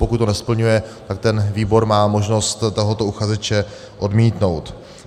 Pokud to nesplňuje, tak ten výbor má možnost tohoto uchazeče odmítnout.